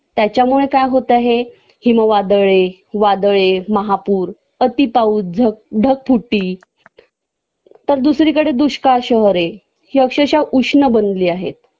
त्याच्यामुळे काय होतंय हे हिमवादळए, वादळए, महापूर, अति पाऊस, ढगफुटी तर दुसरीकडे दुष्काळ शहरहे हि अक्षरशः उष्ण बनली आहेत